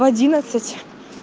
в одиннадцать